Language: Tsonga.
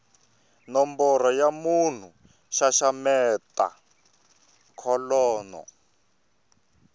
nomboro ya munhu xaxameta kholomo